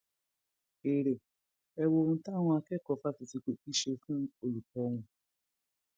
èrè e wọ ohun táwọn akẹkọọ fásitì kogi ṣe fún olùkọ wọn